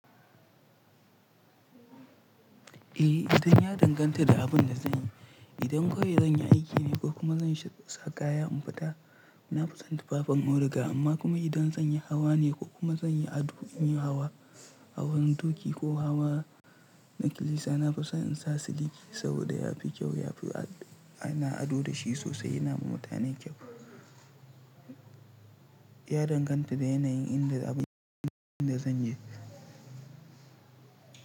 Eh, idan ya danganta da abin da zan yi. Idan kai zan yi aiki ne ko kuma zan sha kaya in fita, na fi son tufafin auduga. Amma kuma idan zan yi hawa ne ko kuma zan yi ado, in yi hawa hawan turkey ko hawa na kilisa, na fi so in sa siliki saboda ya fi kyau. Ya fi ana ado da shi sosai, yana ma mutane kyau. Ya danganta da yanayin inda abin da zan yi.